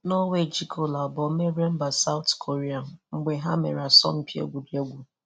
Nọọwe ji goolụ abụọ merie mba Sawụt Koria mgbe ha mere asọmpi egwuregwu.